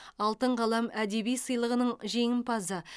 алтын қалам әдеби сыйлығының жеңімпазы